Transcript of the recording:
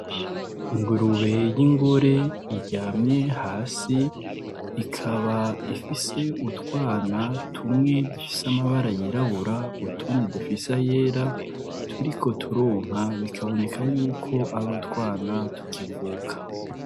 Ingurube y'ingore iryamye hasi ikaba ifise utwana tumwe dufise amabara yirabura utundi dufisa yera turiko turonka bikaboneka yuko ari utwana tukivuka.